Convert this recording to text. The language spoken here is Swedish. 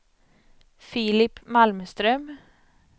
Filip Malmström